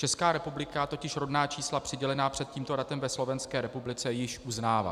Česká republika totiž rodná čísla přidělená před tímto datem ve Slovenské republice již uznává.